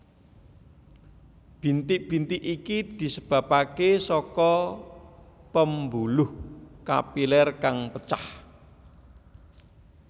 Bintik bintik iki disebabake saka pembuluh kapiler kang pecah